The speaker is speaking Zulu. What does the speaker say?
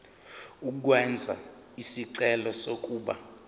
ukwenza isicelo sokuba